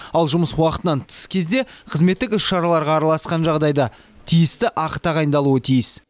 ал жұмыс уақытынан тыс кезде қызметтік іс шараларға араласқан жағдайда тиісті ақы тағайындалуы тиіс